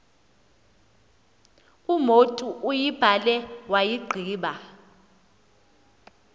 umotu uyibhale wayigqiba